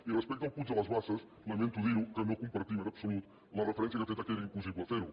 i respecte al puig de les basses lamento dir que no compartim en absolut la referència que ha fet que era impossible fer ho